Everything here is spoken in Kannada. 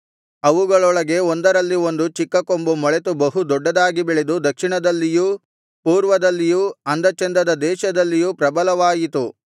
ಅವುಗಳೊಳಗೆ ಒಂದರಲ್ಲಿ ಒಂದು ಚಿಕ್ಕ ಕೊಂಬು ಮೊಳೆತು ಬಹು ದೊಡ್ಡದಾಗಿ ಬೆಳೆದು ದಕ್ಷಿಣದಲ್ಲಿಯೂ ಪೂರ್ವದಲ್ಲಿಯೂ ಅಂದಚಂದದ ದೇಶದಲ್ಲಿಯೂ ಪ್ರಬಲವಾಯಿತು